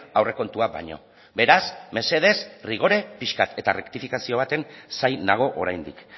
aurrekontuak baino beraz mesedez rigore pixka bat eta errektifikazioa baten zain nago oraindik